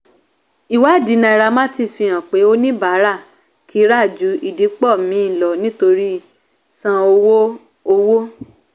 ìwádìí nairametrics fi hàn pé oníbàárà kì í ra ju ìdìpọ̀ mì lọ nítorí san owó. owó.